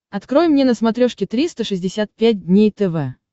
открой мне на смотрешке триста шестьдесят пять дней тв